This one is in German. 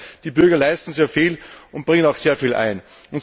Das heißt, die Bürger leisten sehr viel und bringen auch sehr viel ein.